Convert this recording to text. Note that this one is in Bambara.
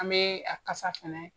An bɛ a kasa fɛnɛ